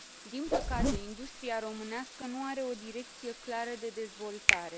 Din păcate, industria românească nu are o direcție clară de dezvoltare.